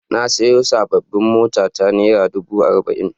Na sayo sabbin tayoyin motata naira dubu arba'in.